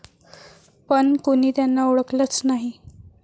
... पण कोणी 'त्यांना' ओळखलंच नाही!